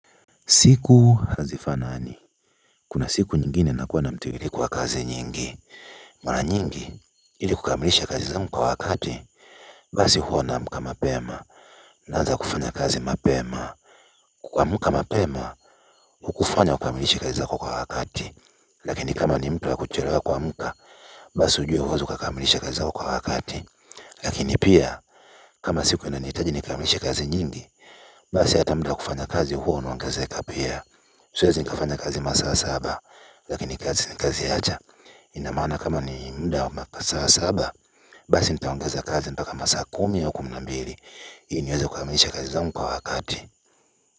Siku hazifanani, kuna siku nyingine unakuwa na mtiririko wa kazi nyingi. Mara nyingi ili kukamilisha kazi zangu kwa wakati, basi huwa naamka mapema, naanza kufanya kazi mapema. Kuamka mapema hukufanya ukamilishe kazi zako kwa wakati, lakini kama ni mtu wa kuchelewa kuamka basi ujue hauwezi ukakamilisha kazi zako kwa wakati lakini pia, kama siku inanihitaji nikamilishe kazi nyingi, basi hata muda wa kufanya kazi huo unaongezeka pia. Siwezi nikafanya kazi masaa saba, lakini siwezi nikaziacha ina maana kama ni muda wa masaa saba basi nitaongeza kazi mpaka masaa kumi wa kumi na mbili ili niweza kukamilisha kazi zangu kwa wakati.